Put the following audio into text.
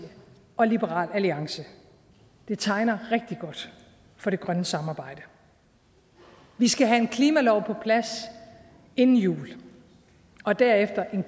og liberal alliance det tegner rigtig godt for det grønne samarbejde vi skal have en klimalov på plads inden jul og derefter en